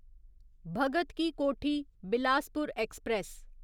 Bhagat Ki Kothi Bilaspur express